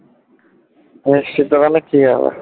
মানুষ খেতে পারলে